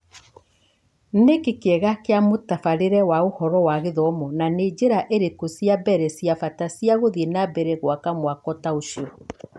Nĩkĩĩ kĩega kia mũtabarĩre wa ũhoro wa gĩthomo, na nĩ njĩra ĩrĩkũ ciambere ciabata ciagũthiĩ nambere gũaka mwako taũcio ?